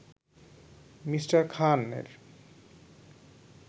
Me. খানের